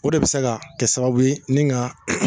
O de be se ka kɛ sababu ye ni ga